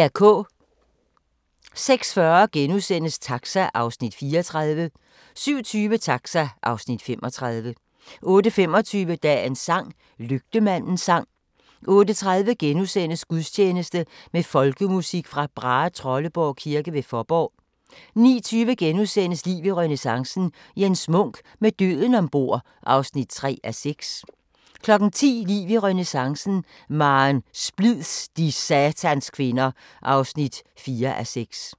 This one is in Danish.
06:40: Taxa (Afs. 34)* 07:20: Taxa (Afs. 35) 08:25: Dagens sang: Lygtemandens sang 08:30: Gudstjeneste med folkemusik fra Brahetrolleborg kirke ved Fåborg * 09:20: Liv i renæssancen – Jens Munk: Med døden ombord (3:6)* 10:00: Liv i renæssancen: Maren Splids - de satans kvinder (4:6)